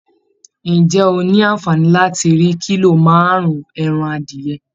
Ǹjẹ́ o ní àǹfààní láti rí kílò márùn-ún ẹran adìyẹ?